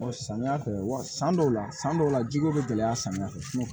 samiya fɛ wa san dɔw la san dɔw la jiko be gɛlɛya samiya fɛ